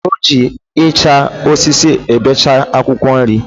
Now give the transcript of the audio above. O ji Icha osisi ebecha akwukwo nri